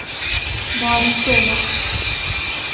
Maristova